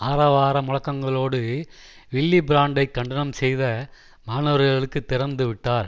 ஆரவார முழக்கங்களோடு வில்லி பிரான்டை கண்டனம் செய்த மாணவர்களுக்கு திறந்துவிட்டார்